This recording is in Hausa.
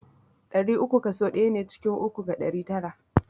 Ɗari uku kaso ɗaya ne ciki uku ga ɗari tara.